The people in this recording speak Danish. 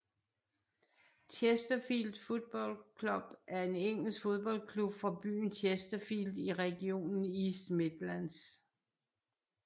Chesterfield Football Club er en engelsk fodboldklub fra byen Chesterfield i regionen East Midlands